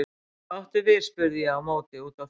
Hvað áttu við spurði ég á móti og úti á þekju.